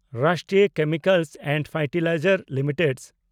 ᱨᱟᱥᱴᱨᱤᱭᱚ Chemicals and Fertilizers limited